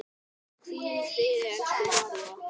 Hvíl í friði, elsku María.